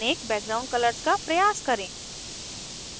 4 अनेक background colors का प्रयास करें